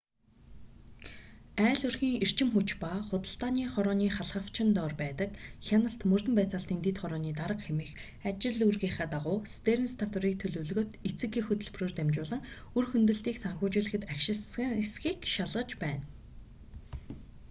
айл өрхийн эрчим хүч ба худалдааны хорооны халхавчин дор байдаг хяналт мөрдөн байцаалтын дэд хорооны дарга хэмээх ажил үүргийнхээ дагуу стеэрнс татварыг төлөвлөгөөт эцэг эх хөтөлбөрөөр дамжуулан үр хөндөлтийг санхүүжүүлэхэд ашигласан эсэхийг шалгаж байна